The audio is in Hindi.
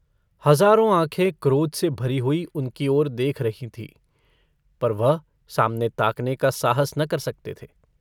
हजारों आँखें क्रोध से भरी हुई उनकी ओर देख रही थीं पर वह सामने ताकने का साहस न कर सकते थे।